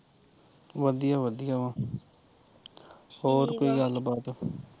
ਵਧੀਆ ਵਧੀਆ ਵਾਂ ਹੋਰ ਕੋਈ ਗੱਲ ਬਾਤ